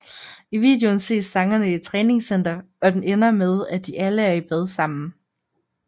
I videoen ses sangerne i et træningscenter og den ender med at de alle er i bad sammen